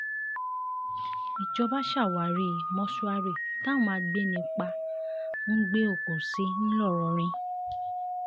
ìjọba ṣàwárí mọ́ṣúárì táwọn agbẹnipa ń gbé òkú sí ńlọrọrìn